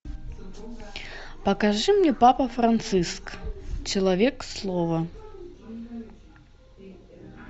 покажи мне папа франциск человек слова